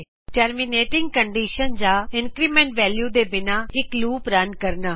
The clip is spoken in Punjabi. ਟਰਮੀਨੇਟਿੰਗ ਕੰਡੀਸ਼ਨ ਜਾਂ ਇੰਕਰੀਮੈਂਟ ਵੈਲਯੂ ਦੇ ਬਿਨਾ ਇਕ ਲੂਪ ਰਨ ਕਰਨਾ